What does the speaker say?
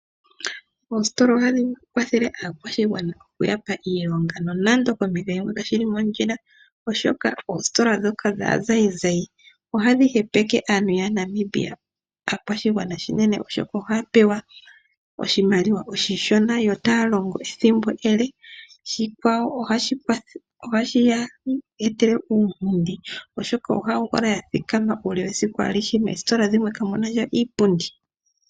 Oositola ohadhi kwathele aakwashigwana okuya pa iilonga nonando pompito yimwe kashi li mondjila, oshoka oositola ndhoka dhaazayizayi ohadhi hepeke oshigwana yaNamibia unene, oshoka ohaya pewa oshimaliwa oshishona yo taya longo ethimbo ele. Shika ohashi ya etele uunkundi, oshoka ohaya kala ya thikama uule wesiku alihe, moositola dhimwe kamu na sha iipundi.